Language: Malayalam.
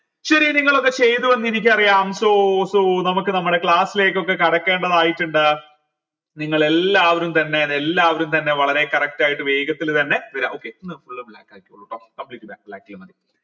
ശരി ഇനി നിങ്ങളൊക്കെ ചെയ്തു എന്ന് എനിക്കറിയാം so so നമുക്ക് നമ്മുടെ class ലേക്ക് ഒക്കെ കടക്കേണ്ടതായിട്ടുണ്ട് നിങ്ങളെല്ലാവരും തന്നെ എല്ലാവരും തന്നെ വളരെ correct ആയിട്ട് വേഗത്തിൽ തന്നെ വര okay ഒന്ന് full black ആക്കികോളൂട്ടോ complete black